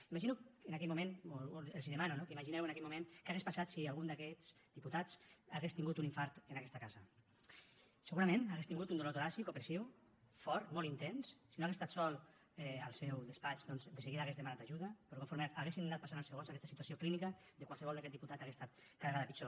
imagino en aquell moment o els demano no que imagineu en aquell moment què hauria passat si algun d’aquests diputats hagués tingut un infart en aquesta casa segurament hauria tingut un dolor toràcic opressiu fort molt intens si no hagués estat sol al seu despatx doncs de seguida hauria demanat ajuda però conforme haguessin anat passant els segons aquesta situació clínica de qualsevol d’aquest diputat hauria estat cada vegada pitjor